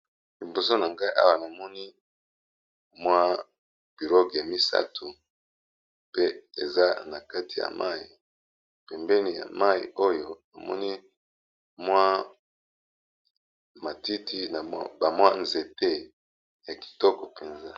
Liboso nangai Awa ñamoni pirogue nakati ya mayi pembeni pee nazomona matiti